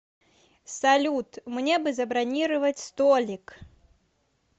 салют мне бы забронировать столик